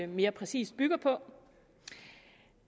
mere præcist bygger på